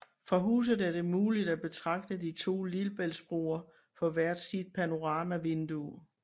Fra huset er det muligt at betragte de to lillebæltsbroer fra hvert sit panoramavindue